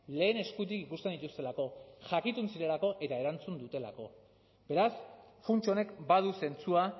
lehen eskutik ikusten dituztelako jakitun zirelako eta erantzun dutelako beraz funts honek badu zentzua